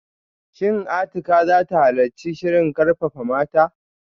Shin Atikah zata halarci shirin karfafa mata?